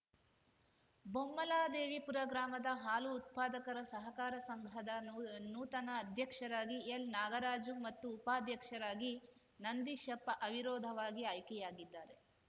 ಬೊಮ್ಮಲದೇವಿಪುರ ಗ್ರಾಮದ ಹಾಲು ಉತ್ಪಾದಕರ ಸಹಕಾರ ಸಂಘದ ನೂ ನೂತನ ಅಧ್ಯಕ್ಷರಾಗಿ ಎಲ್ನಾಗರಾಜು ಮತ್ತು ಉಪಾಧ್ಯಕ್ಷರಾಗಿ ನಂದೀಶಪ್ಪ ಅವಿರೋಧವಾಗಿ ಆಯ್ಕೆಯಾಗಿದ್ದಾರೆ